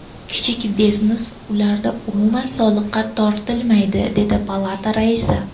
Kichik biznes ularda umuman soliqqa tortilmaydi”, dedi palata raisi.